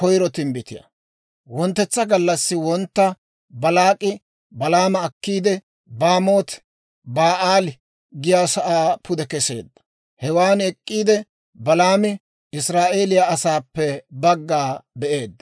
Wonttetsa gallassi wontta Baalaak'i Balaama akkiide, Baamooti-Ba'aali giyaasaa pude kesseedda; hewan ek'k'iide, Balaami Israa'eeliyaa asaappe bagga be'eedda.